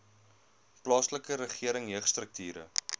plaaslike regering jeugstrukture